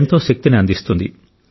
ఎంతో శక్తిని అందిస్తుంది